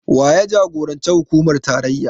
Waye jagoran hukumar tarayya?